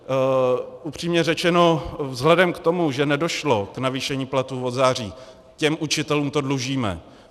Upřímně řečeno, vzhledem k tomu, že nedošlo k navýšení platů od září, těm učitelům to dlužíme.